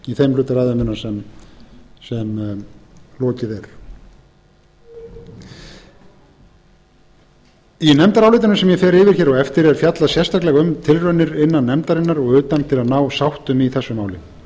í þeim hluta ræðu minnar sem lokið er í nefndarálitinu sem ég fer yfir hér á eftir er fjallað sérstaklega um tilraunir innan nefndarinnar og utan til að ná sáttum í þessu máli en